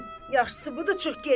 Hı, yaxşısı budur, çıx get.